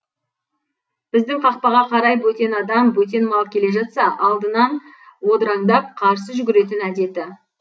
біздің қақпаға қарай бөтен адам бөтен мал келе жатса да алдынан одыраңдап қарсы жүгіретін әдеті